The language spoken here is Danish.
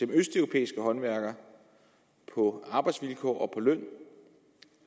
østeuropæiske håndværkere på arbejdsvilkår og på løn